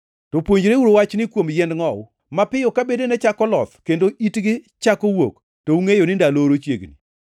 “To puonjreuru wachni kuom yiend ngʼowu. Mapiyo ka bedene chako loth kendo itgi chako wuok to ungʼeyo ni ndalo oro chiegni.